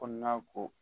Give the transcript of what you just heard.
Kɔnɔna ko